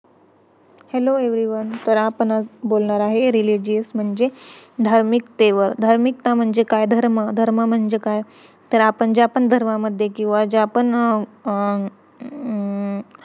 hello evryone तर आपण आज बोलणार आहे religious म्हणजे धार्मिकतेवर धार्मिकता म्हणजे काय धर्म धर्म म्हणजे काय तर आपण ज्या पण धर्मामध्ये किंवा ज्या पण अं